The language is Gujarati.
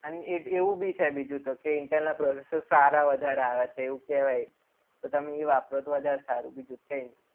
અને એવું બી છે બીજું તો કે intel processor સારા વધારે આવે છે એવું કહેવાય. તો તમે એ વાપરો તો વધારે સારું બીજું કંઈ નહીં.